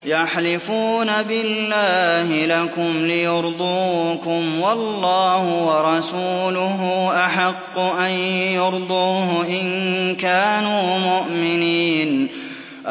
يَحْلِفُونَ بِاللَّهِ لَكُمْ لِيُرْضُوكُمْ وَاللَّهُ وَرَسُولُهُ أَحَقُّ أَن يُرْضُوهُ إِن كَانُوا مُؤْمِنِينَ